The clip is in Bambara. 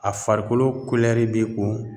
A farikolo be ko